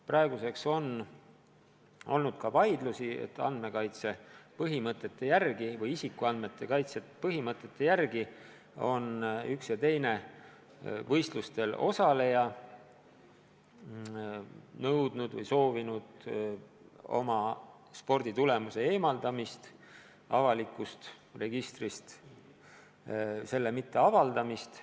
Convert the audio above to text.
Meil on olnud vaidlusi, et andmekaitse põhimõtetele või isikuandmete kaitse põhimõtetele toetudes on üks või teine võistlustel osaleja nõudnud või soovinud oma sporditulemuse eemaldamist avalikust registrist, selle mitteavaldamist.